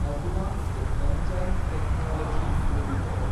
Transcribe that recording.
advanced enzyme technologies limited